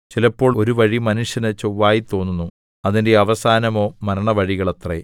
ചിലപ്പോൾ ഒരു വഴി മനുഷ്യന് ചൊവ്വായി തോന്നുന്നു അതിന്റെ അവസാനമോ മരണവഴികൾ അത്രേ